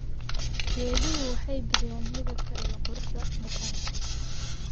Geeduhu waxay bixiyaan midabka iyo quruxda muuqaalka.